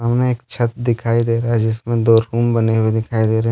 हमें एक छत दिखाई दे रहा है जिसमें दो रूम बने हुए दिखाई दे रहे हैं।